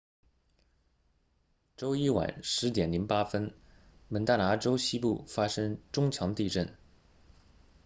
周一晚10 08蒙大拿州西部发生中强地震